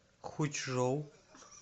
хучжоу